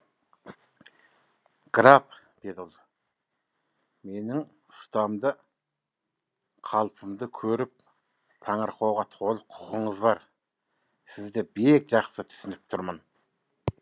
граф деді ол менің ұстамды қалпымды көріп таңырқауға толық құқыңыз бар сізді бек жақсы түсініп тұрмын